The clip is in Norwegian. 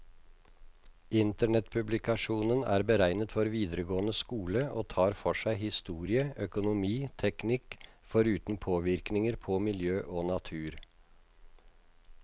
Internettpublikasjonen er beregnet for videregående skole, og tar for seg historie, økonomi, teknikk, foruten påvirkninger på miljø og natur.